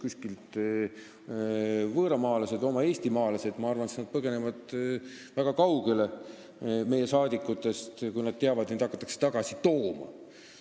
Olgu nad siis võõramaalased või meie oma eestimaalased, ma arvan, et nad põgenevad meie saadikutest väga kaugele, kui nad teavad, et neid hakatakse tagasi tooma.